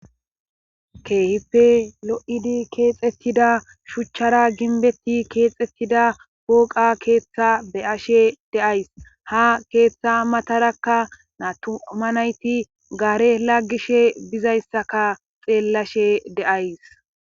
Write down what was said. keehippe lo'idi keexettida shuchchara ginbetti keexettida gooqa keeththa beyashe deays ha keeththa matarakka naatuma nayti gaare laggishe bizayssaka xeellashe de'ays.